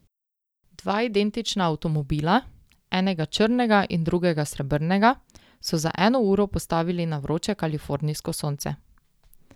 Dva identična avtomobila, enega črnega in drugega srebrnega, so za eno uro postavili na vroče kalifornijsko sonce.